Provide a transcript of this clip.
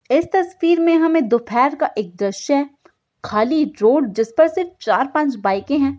इस तस्वीर में हमें दोपहर का एक दृश्य खाली रोड जिस पर से चार पांच बाइके हैं।